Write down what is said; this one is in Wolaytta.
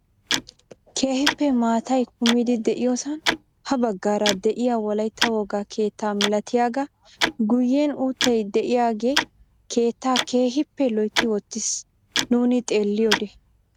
Keehippe maatay kumidi de'iyoosan ha baggaara de'iyaa wolaytta wogaa keettaa milatiyaagaa guyen uuttay de'iyaage keettaa keehippe loytti wottiis nuuni xeelliyoode.